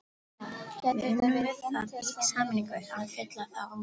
Við unnum við það í sameiningu að fylla þá út.